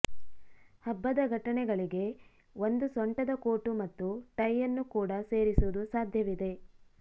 ಹಬ್ಬದ ಘಟನೆಗಳಿಗೆ ಒಂದು ಸೊಂಟದ ಕೋಟು ಮತ್ತು ಟೈ ಅನ್ನು ಕೂಡ ಸೇರಿಸುವುದು ಸಾಧ್ಯವಿದೆ